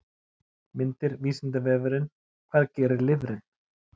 Myndir Vísindavefurinn: Hvað gerir lifrin?